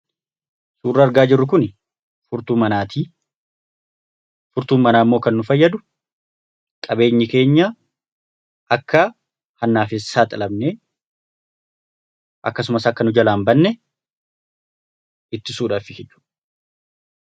Suurri argaa jirru kuni furtuu manaati. Furtuun manaa immoo kan inni nu fayyadu qabeenyi keenya akka hannaaf hin saaxilamne akkasumas akka nu kalaa hin banne ittisuudhaafi.